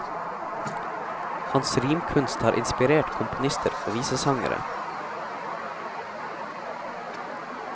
Hans rimkunst har inspirert komponister og visesangere.